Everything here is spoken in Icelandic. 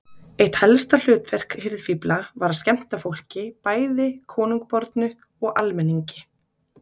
Eitt helsta hlutverk hirðfífla var að skemmta fólki, bæði konungbornu og almenningi.